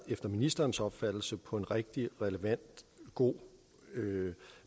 efter ministerens opfattelse været på en rigtig relevant god